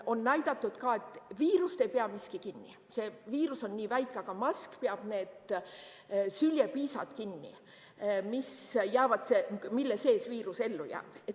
On näidatud ka, et viirust ei pea miski kinni, see viirus on nii väike, aga mask peab kinni need süljepiisad, mille sees viirus ellu jääb.